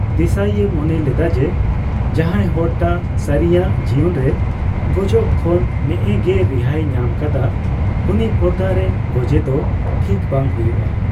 ᱫᱮᱥᱟᱹᱤᱭᱮ ᱢᱚᱱᱮ ᱞᱮᱫᱟ ᱡᱮ, ᱡᱟᱦᱟᱭ ᱦᱚᱲᱴᱟᱜ ᱥᱟᱹᱨᱤᱭᱟᱝ ᱡᱤᱭᱚᱱ ᱨᱮ ᱜᱚᱡᱚᱠ ᱠᱷᱚᱱ ᱱᱮᱼᱮ ᱜᱮ ᱨᱤᱦᱟᱹᱭᱮ ᱧᱟᱢᱟᱠᱟᱫᱟ, ᱩᱱᱤ ᱯᱚᱨᱫᱟ ᱨᱮ ᱜᱚᱡᱮ ᱫᱚ ᱴᱷᱤᱠ ᱵᱟᱝ ᱦᱩᱭᱩᱠᱟ ᱾